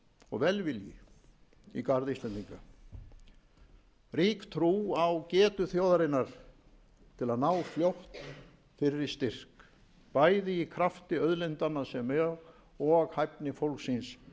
og velvilji í garð íslendinga rík trú á getu þjóðarinnar til að ná fljótt fyrri styrk bæði í krafti auðlindanna sem og hæfni fólksins